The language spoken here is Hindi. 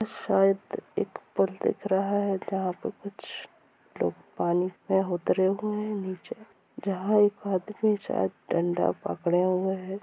शायद एक पूल दिख रहा है जहां पर कुछ लोग पानी पे उतरे हुए हैं नीचे जहा एक आदमी शायद डंडा पकड़े हुआ है।